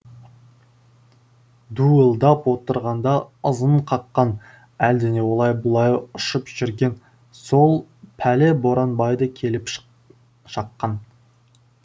дуылдап отырғанда ызың қаққан әлдене олай бұлай ұшып жүрген сол пәле боранбайды келіп шаққан